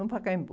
No Pacaembu.